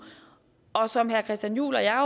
og som herre christian juhl og jeg